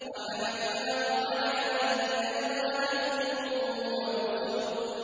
وَحَمَلْنَاهُ عَلَىٰ ذَاتِ أَلْوَاحٍ وَدُسُرٍ